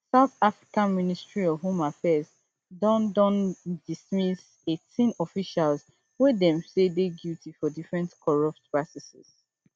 south africa ministry of home affairs don don dismiss eighteen officials wey dem say dey guilty for different corrupt practices